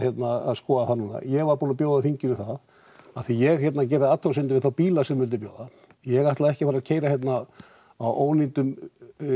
skoða það núna ég var búinn að bjóða þingunu það að því að ég gerði athugasemd við þá bíla sem þau vildu bjóða ég ætla ekki að fara að keyra hérna á ónýtum